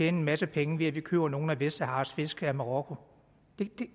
en masse penge ved at vi køber nogle af vestsaharas fisk af marokko